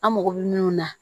An mago bɛ min na